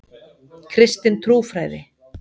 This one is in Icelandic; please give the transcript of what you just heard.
Kristin trúfræði.